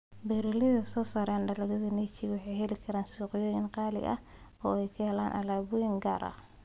Beeralayda soo saara dalagyada niche waxay heli karaan suuqyo qaali ah oo ay ka helaan alaabooyin gaar ah.